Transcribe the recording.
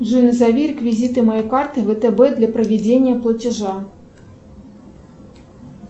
джой назови реквизиты моей карты втб для проведения платежа